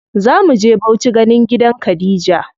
Zamu je Bauchi ganin gidan Khadija.